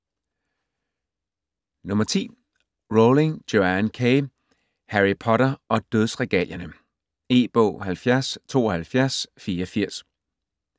Rowling, Joanne K.: Harry Potter og dødsregalierne E-bog 707284